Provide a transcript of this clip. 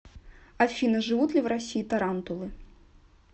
афина живут ли в россии тарантулы